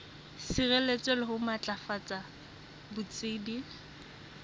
sireletsa le ho matlafatsa botsebi